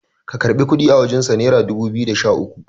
ka karɓi kudi a wajensa naira dubu biyu da Sha uku